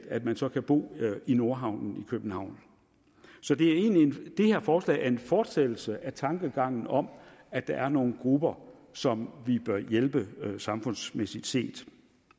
at man så kan bo i nordhavnen i københavn så det her forslag er en fortsættelse af tankegangen om at der er nogle grupper som vi bør hjælpe samfundsmæssigt set